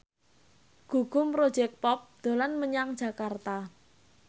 Gugum Project Pop dolan menyang Jakarta